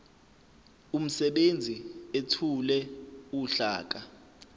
umsebenzi ethule uhlaka